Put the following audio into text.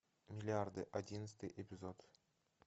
миллиарды одиннадцатый эпизод